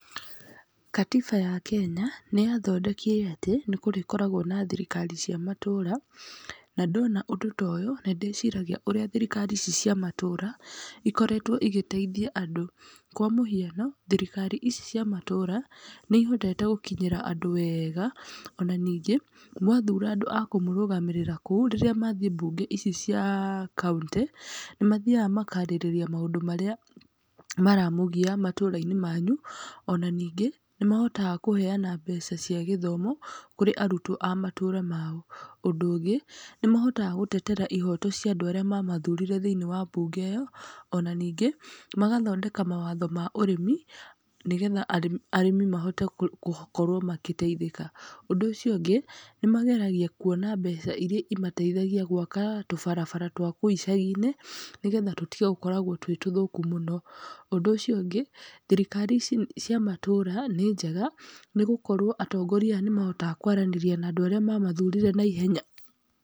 Gatiba ya Kenya nĩ yathondekire atĩ, nĩ kũrĩkoragwo na thirikari cia matũra na ndona ũndũ ta ũyũ, nĩ ndĩciragia ũrĩa thirikari ici cia matũra ukoretwe igĩteithia andũ, kwa mũhiano thirikari ici cia matũra nĩ ihotete gũkinyĩra andũ wega, ona ningĩ mwathura andũ ma kũrũgamĩrĩra kũu rĩrĩa mathii bunge ici cia kaũntĩ nĩ mathiaga makarĩrĩria maũndũ marĩa maramũgia matũrainĩ manyu, ona ningĩ nĩ mahotaga kũheana mbeca cia gĩthomo kũrĩ arutwo ma matũra mao. Ũndũ ũngĩ nĩ mahotaga gũtetera ihoto cia andũ arĩa mamathurire thĩinĩ wa bunge ĩyo, ona ningĩ magathondeka mawatho ma ũrĩmi nĩgetha arĩmi mahote gũkorwo magĩteithĩka. Ũndũ ũcio ũngĩ nĩ mageragia kũona mbeca iria imateithagia gwaka tũbarabara twa kũu icaginĩ nĩgetha tũkoragwo tũtetũthũku mũno. Ũndũ ũcio ũngĩ thirikari ici cia matũra nĩnjega nĩgũkorwo atongoria nĩ mahotaga kwaranĩria na andũ arĩa mamathurire naihenya.